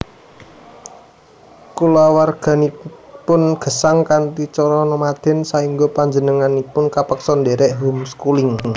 Kulawarganipun gesang kanthi cara nomaden saéngga panjenenganipun kapeksa ndhèrèk home schooling